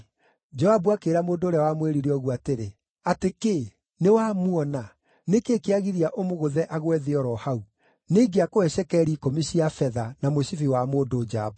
Joabu akĩĩra mũndũ ũrĩa wamwĩrire ũguo atĩrĩ, “Atĩ kĩĩ! Nĩwamuona? Nĩ kĩĩ kĩagiria ũmũgũthe agwe thĩ o ro hau? Nĩingĩakũhe cekeri ikũmi cia betha, na mũcibi wa mũndũ njamba.”